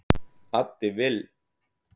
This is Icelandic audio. Addi Vill